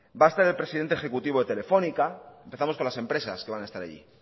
va a estar el presidente ejecutivo de telefónica empezamos con las empresas que van a estar allí